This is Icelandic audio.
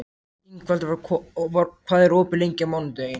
Ingvaldur, hvað er opið lengi á mánudaginn?